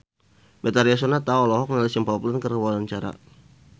Betharia Sonata olohok ningali Simple Plan keur diwawancara